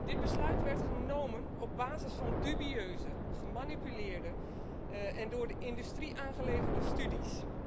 Dit besluit werd genomen op basis van dubieuze, gemanipuleerde en door de industrie aangeleverde studies.